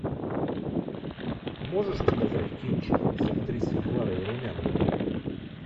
можешь показать кинчик с актрисой кларой румяновой